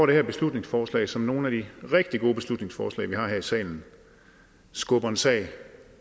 det her beslutningsforslag som ligesom nogle af de rigtige gode beslutningsforslag vi har her i salen skubber en sag